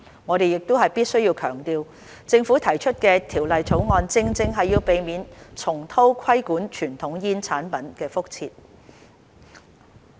我們必須強調，政府提出《條例草案》，正正是要避免重蹈規管傳統煙草產品的覆轍。